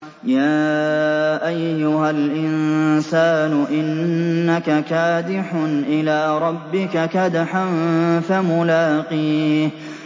يَا أَيُّهَا الْإِنسَانُ إِنَّكَ كَادِحٌ إِلَىٰ رَبِّكَ كَدْحًا فَمُلَاقِيهِ